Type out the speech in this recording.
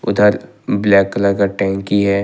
उधर black colour का टंकी है।